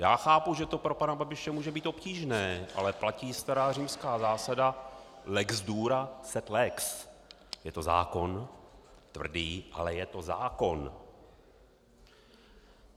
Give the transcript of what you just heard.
Já chápu, že to pro pana Babiše může být obtížné, ale platí stará římská zásada lex dura, sed lex - je to zákon tvrdý, ale je to zákon.